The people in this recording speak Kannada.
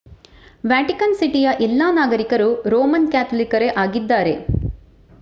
ವ್ಯಾಟಿಕನ್ ಸಿಟಿಯ ಎಲ್ಲಾ ನಾಗರಿಕರು ರೋಮನ್ ಕ್ಯಾಥೋಲಿಕರೇ ಆಗಿದ್ದಾರೆ